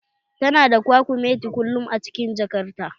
Tana da kwakumeti kullum a cikin jakar ta